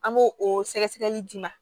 An b'o o sɛgɛsɛgɛli d'i ma